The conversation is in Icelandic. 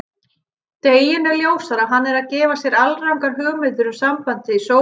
Deginum ljósara að hann er að gera sér alrangar hugmyndir um sambandið í sófanum.